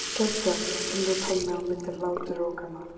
Geggjað stundi Tommi á milli hláturrokanna.